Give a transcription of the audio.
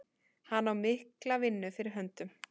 Hann á mikla vinnu fyrir höndum.